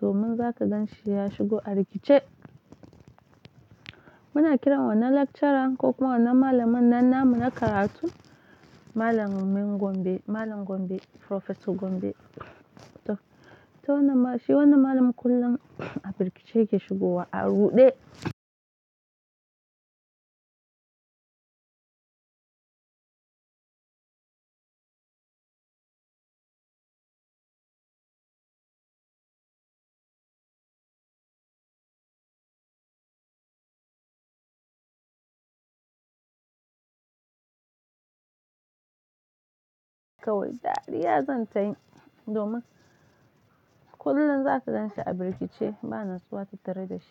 domin zaka ganshi ya shigo a rikice. Muna kiran wannan lecturer ko kuma wannan malamin nan namu na karatu malamin Gombe, malam Gombe, Professor Gombe. To, to wannan shi wannan malamin kullum a firgice yake shigowa a ruɗe. Kawai dariya zan tayi domin kullum zaka ganshi a birkice ba natsuwa tattara da shi.